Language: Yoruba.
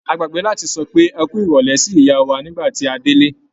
A gbàgbé láti sọ pé "ẹ kú ìrọ̀lẹ́" sí ìyá wà nígbà tí a délé.